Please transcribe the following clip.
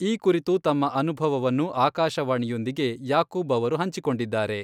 ಈ ಕುರಿತು ತಮ್ಮ ಅನುಭವವನ್ನು ಆಕಾಶವಾಣಿಯೊಂದಿಗೆ ಯಾಕೂಬ್ ಅವರು ಹಂಚಿಕೊಂಡಿದ್ದಾರೆ.